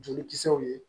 Jolikisɛw ye